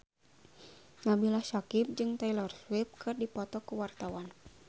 Nabila Syakieb jeung Taylor Swift keur dipoto ku wartawan